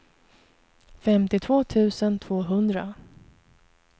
femtiotvå tusen tvåhundra